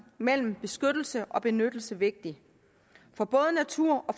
mellem beskyttelse og benyttelse vigtig for både naturen